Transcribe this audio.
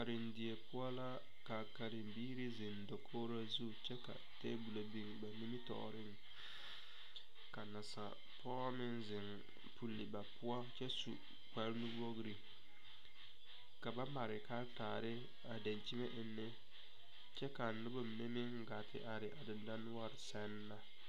Kariŋ die poʊ la ka kariŋ biire zeŋ dakogro zu kyɛ ka tabule meŋ biŋ ba nimitooreŋ. Ka nasapoge meŋ zeŋ pule ba poʊ kyɛ su kpar nu wogre. Ka ba mare karataare dankyeme eŋe. Kyɛ ka a noba mene meŋ gaa te are a dindore sɛŋ ne